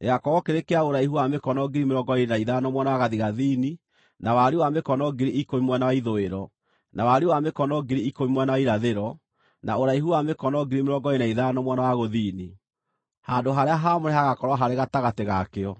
Gĩgaakorwo kĩrĩ kĩa ũraihu wa mĩkono 25,000 mwena wa gathigathini na wariĩ wa mĩkono 10,000 mwena wa ithũĩro, na wariĩ wa mĩkono 10,000 mwena wa irathĩro, na ũraihu wa mĩkono 25,000 mwena wa gũthini. Handũ-harĩa-haamũre hagaakorwo harĩ gatagatĩ ga kĩo.